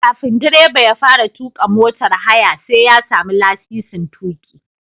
Kafin direba ya fara tuƙa motar haya sai ya sami lasisin tuƙi.